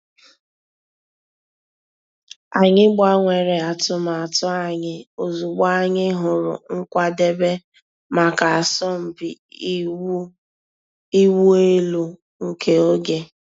Ànyị̀ gbànwèrè àtùmàtù ànyị̀ òzịgbọ̀ ànyị̀ hụ̀rù nkwàdèbè mǎká àsọ̀mpị ị̀wụ̀ èlù nke ògè.